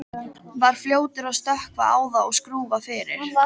Var fljótur að stökkva á það og skrúfa fyrir.